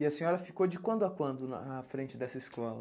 E a senhora ficou de quando a quando à frente dessa escola?